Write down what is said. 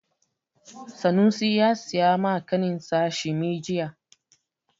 Sanusi ya siyo wa ƙaninsa shimi jiya.